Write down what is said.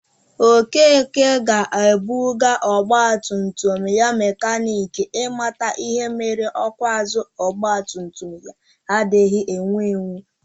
Okeke ga-abuga ogbagumtum ya mekanik i mata ihe mere ọkụ azụ ọgbatumtum ya adighi ewu ,ewu